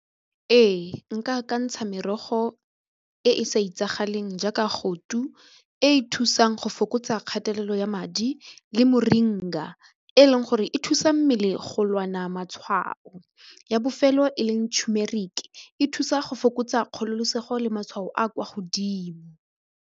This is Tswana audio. Ee, nka akantsha merogo e e sa itsagaleng jaaka goto e e thusang go fokotsa kgatelelo ya madi le moringa e leng gore e thusa mmele go lwana matshwao ya bofelo e leng tumeric e thusa go fokotsa kgololosego le matshwao a kwa godimo.